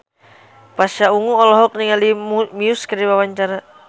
Pasha Ungu olohok ningali Muse keur diwawancara